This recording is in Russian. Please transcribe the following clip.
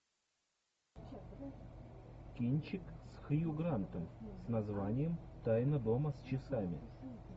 кинчик с хью грантом с названием тайна дома с часами